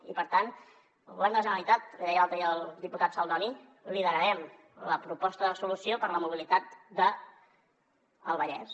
i per tant el govern de la generalitat li deia l’altre dia al diputat saldoni liderarem la proposta de solució per a la mobilitat del vallès